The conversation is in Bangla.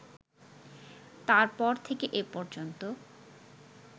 তার পর থেকে এ পর্যন্ত